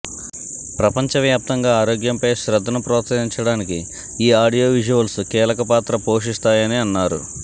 ప్రపంచవ్యాప్తంగా ఆరోగ్యంపై శ్రద్ధను ప్రోత్సహించడానికి ఈ ఆడియో విజువల్స్ కీలక పాత్ర పోషిస్తాయని అన్నారు